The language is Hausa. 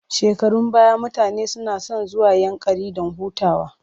Shekarun baya mutane suna son zuwa Yankari don hutawa.